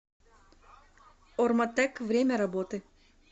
орматек время работы